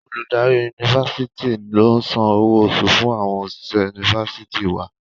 Olùdarí Yunifásitì ló ń san owó oṣù fún àwọn òṣìṣẹ̀ Yunifásitì wa.